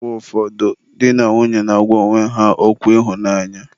Mgbe ụfọdụ di na nwunye na-agwa onwe ha okwu ịhụnanya.